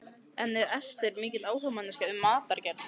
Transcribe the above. En er Ester mikil áhugamanneskja um matargerð?